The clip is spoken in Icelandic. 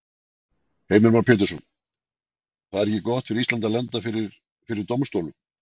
Heimir Már Pétursson: Það er ekki gott fyrir Ísland að lenda fyrir, fyrir dómstólnum?